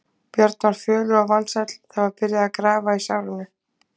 Björn var fölur og vansæll, það var byrjað að grafa í sárinu.